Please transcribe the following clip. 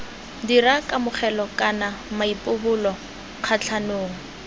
dira kamogelo kana maipobolo kgatlhanong